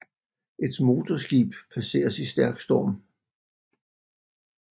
Et motorskib passeres i stærk storm